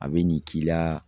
A be nin k'i la